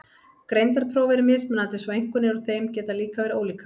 Greindarpróf eru mismunandi svo einkunnir úr þeim geta líka verið ólíkar.